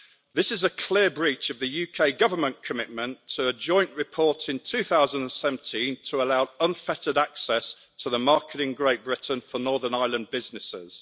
This is a clear breach of the UK government commitment to a joint report in 2017 to allow unfettered access to the market in Great Britain for Northern Ireland businesses.